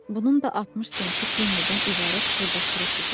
Bunun da 60 centi pennidən ibarət xırda-xuruş idi.